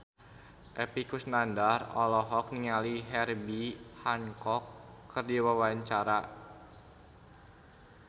Epy Kusnandar olohok ningali Herbie Hancock keur diwawancara